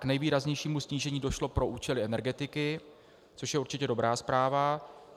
K nejvýraznějšímu snížení došlo pro účely energetiky, což je určitě dobrá zpráva.